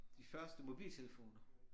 De første mobiltelefoner